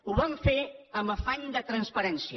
ho vam fer amb afany de transparència